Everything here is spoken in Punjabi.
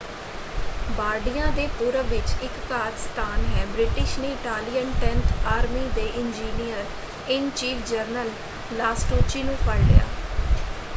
ਬਾਰਡੀਆ ਦੇ ਪੂਰਬ ਵਿੱਚ ਇਕ ਘਾਤ-ਸਥਾਨ ਹੈ ਬ੍ਰਿਟਿਸ਼ ਨੇ ਇਟਾਲੀਅਨ ਟੈਂਥ ਆਰਮੀ ਦੇ ਇੰਜੀਨੀਅਰ-ਇਨ-ਚੀਫ ਜਨਰਲ ਲਾਸਟੁਚੀ ਨੂੰ ਫੜ੍ਹ ਲਿਆ।